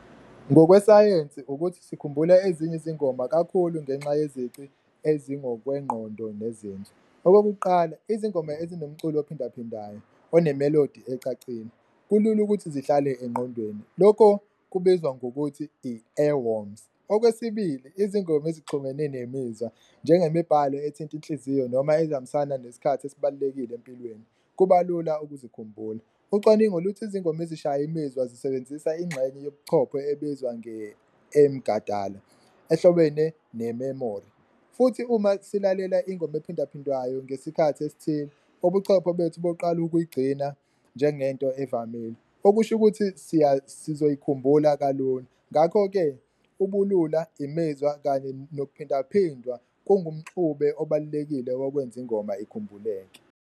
Ngokwesayensi ukuthi sikhumbula ezinye izingoma kakhulu ngenxa yezici ezingokwengqondo nezinzwa. Okokuqala, izingoma ezinomculo ophindaphindwayo onemelodi ecacile kulula ukuthi zihlale engqondweni, lokho kubizwa ngokuthi i-earwoms. Okwesibili, izingoma ezixhumene nemizwa njengemibhalo ethinta inhliziyo noma ezihambisana nesikhathi esibalulekile empilweni kuba lula ukuze sikhumbula. Ucwaningo luthi izingoma ezishaya imizwa zisebenzisa ingxenye zobuchopho ebizwa ehlobene nememori, futhi uma silalela ingoma ephindaphindwayo ngesikhathi esithile ubuchopho bethu buqala ukuyigcina njengento evamile. Okusho ukuthi sizoyikukhumbula kalula, ngakho-ke ubulula imizwa kanye nokuphindwaphindwa kungumxube obalulekile wokwenza ingoma ikhumbuleke.